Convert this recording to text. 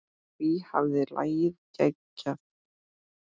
Hví hafði lagið geigað?